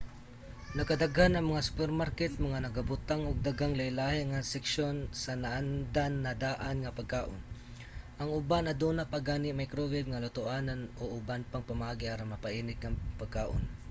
nagkadaghan ang mga supermarket nga nagabutang og daghang lahilahi nga seksyon sa naandam-na-daan nga pagkaon. ang uban aduna pa gani microwave nga lutoanan o uban pang pamaagi aron mapainit ang pagkaon